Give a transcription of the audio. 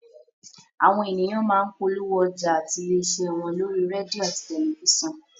Àwọn ènìyàn má ń polówó ọjà àti ilé iṣẹ́ wọn lórí rédíò àti tẹ̀lifísàn